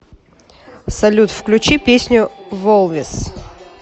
салют включи песню волвес